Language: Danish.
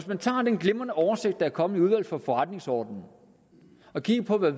man tager den glimrende oversigt der er kommet fra forretningsordenen og kigger på hvad